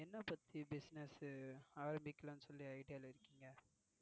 என்ன பத்தி business ஆரம்பிக்கலாம்னு சொல்லி idea இருக்கீங்க?